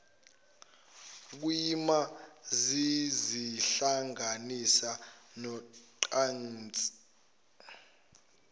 kuyima zizihlanganisa nocansi